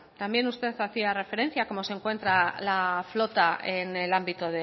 también usted hacía referencia cómo se encuentra la flota en el ámbito